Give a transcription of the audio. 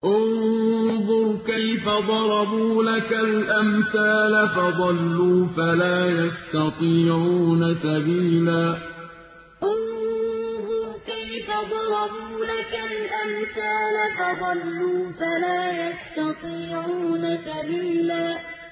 انظُرْ كَيْفَ ضَرَبُوا لَكَ الْأَمْثَالَ فَضَلُّوا فَلَا يَسْتَطِيعُونَ سَبِيلًا انظُرْ كَيْفَ ضَرَبُوا لَكَ الْأَمْثَالَ فَضَلُّوا فَلَا يَسْتَطِيعُونَ سَبِيلًا